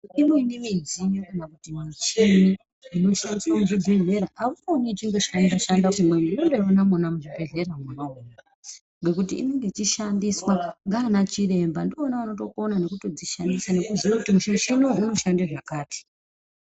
Imweni midziyo kana kuti michini inoshandiswa muzvibhehleya auioni ichingoshanda-shanda kumweni. Unondoiona mwona muchibhehleya mwona umomo ngekuti inenge ichishandiswa ndiana chiremba ndivona vanokona nekutodzishandisa nekutoziye kuti muchiniwo unoshande zvakati.